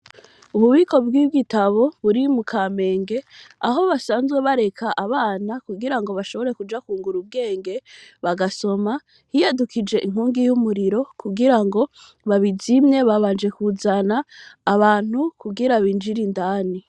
Ububiko bw'igitabo buri mu Kamenge aho basanzwe bareka abana kugira bashobore kuja kungura ubwenge bagasoma hiyadukije inkongi y'umuriro kugira babizimye babanje kuzana abantu kugira binjire indani.